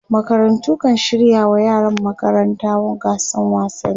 makarantu kan shirya wa yaran magaranta gasan wasanni